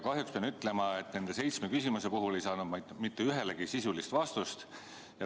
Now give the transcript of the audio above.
Kahjuks pean ütlema, et nendele seitsmele küsimusele ei saanud ma mitte ühtegi sisulist vastust.